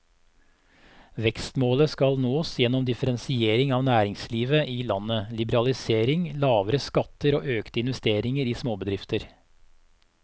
Vekstmålet skal nås gjennom differensiering av næringslivet i landet, liberalisering, lavere skatter og økte investeringer i småbedrifter.